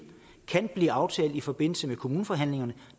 kan blive aftalt i forbindelse med kommuneforhandlingerne